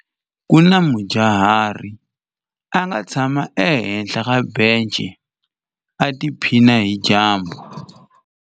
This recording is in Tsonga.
Ku na mudyuhari a nga tshama ehenhla ka bence u tiphina hi dyambu.